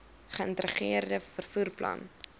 geïntegreerde vervoer plan